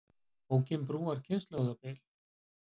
Bókin brúar kynslóðabilið